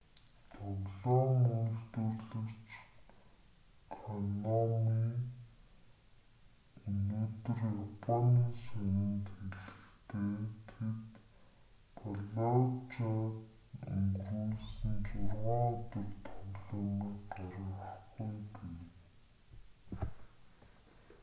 тоглоом үйлдвэрлэгч конами өнөөдөр японы сонинд хэлэхдээ тэд фаллужад өнгөрүүлсэн зургаан өдөр тоглоомыг гаргахгүй гэв